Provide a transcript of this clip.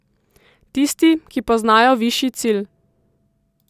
Tisti, ki poznajo višji cilj.